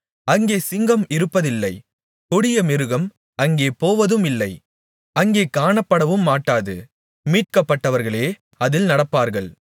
அங்கே சிங்கம் இருப்பதில்லை கொடியமிருகம் அங்கே போவதுமில்லை அங்கே காணப்படவுமாட்டாது மீட்கப்பட்டவர்களே அதில் நடப்பார்கள்